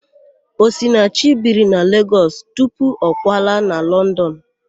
Osinachi biri na Legọs tupu ọ kwalaa na London.